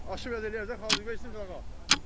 Aşırıb verə bilər, qoy versin qırağa.